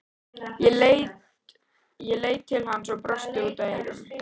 Ég leit til hans og brosti út að eyrum.